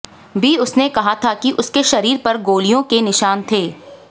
भी उनसे कहा था कि उसके शरीर पर गोलियों के निशान थे